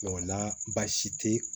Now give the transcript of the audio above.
o la baasi tɛ